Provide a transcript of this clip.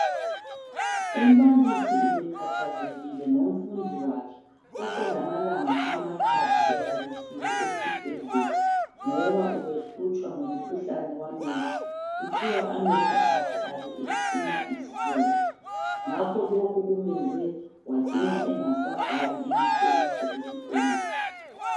Umbalisi ubekhathazekile ngomfundi wakhe oselamalanga amathathu elalisilwe esibhedlela ngoba ubehlutshwa ngumkhuhlane wamehlo. Kuthiwa amehlo akhe abe ephuma izilonda. Ngakho lokhu kumenze wacina engasabhali imihloliso esikolweni.